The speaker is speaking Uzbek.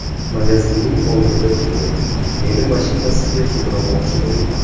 Magazinning oldida kelib, meni mashinasiga sudramoqchi bo‘lgan.